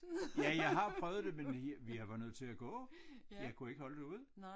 Ja jeg har prøvet det men jeg jeg var nødt til at gå jeg kunne ikke holde det ud